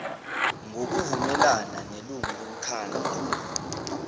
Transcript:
ngokuvumelana nelungu lomkhandlu